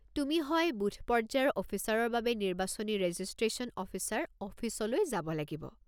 তুমি হয় বুথ-পৰ্য্যায়ৰ অফিচাৰৰ বা নিৰ্বাচনী ৰেজিষ্ট্ৰেশ্যন অফিচাৰ অফিচলৈ যাব লাগিব।